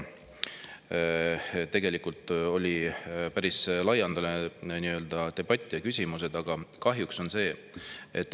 Tegelikult oli meil siin päris laialdane debatt ja esitati küsimusi.